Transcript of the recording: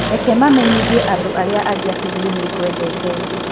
Reke mamenyithie andũ arĩa angĩ atĩ niĩ nĩ ngwendete.